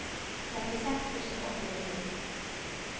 trettiseks tusen åtte hundre og ti